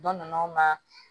Dɔ nana aw ma